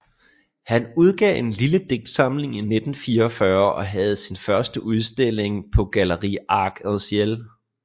Han udgav en lille digtsamling i 1944 og havde sin første udstilling på Gallerie Arc en Ciel